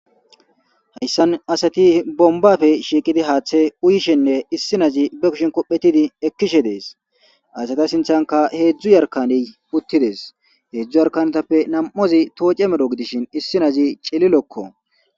hayssan asati bombafe shiiqidi haaththe uyishenne issinazi be kushin kophetidi ekkishe dees asata sinthanka heedzdzu yarkane puttides heedzdzu yarkanetappe nam7ozi tooce medho gidishin issinazi cillilokko